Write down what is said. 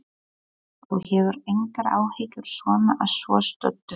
Helga: Þú hefur engar áhyggjur svona að svo stöddu?